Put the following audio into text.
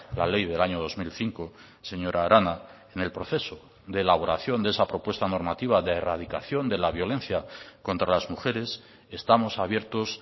la ley del año dos mil cinco señora arana en el proceso de elaboración de esa propuesta normativa de erradicación de la violencia contra las mujeres estamos abiertos